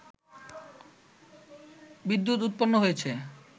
বিদ্যুৎ উৎপন্ন হয়েছে